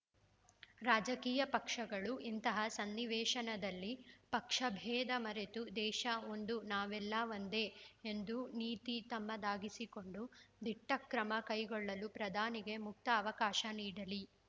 ರಾಜಕೀಯ ಪಕ್ಷಗಳು ಇಂತಹ ಸನ್ನಿವೇಶನದಲ್ಲಿ ಪಕ್ಷಬೇಧ ಮರೆತು ದೇಶ ಒಂದು ನಾವೆಲ್ಲ ಒಂದೇ ಎಂಬ ನೀತಿ ತಮ್ಮದಾಗಿಸಿಕೊಂಡು ದಿಟ್ಟಕ್ರಮ ಕೈಗೊಳ್ಳಲು ಪ್ರಧಾನಿಗೆ ಮುಕ್ತ ಅವಕಾಶ ನೀಡಲಿ